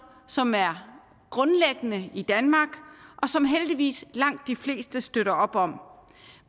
som er grundlæggende i danmark og som heldigvis langt de fleste støtter op om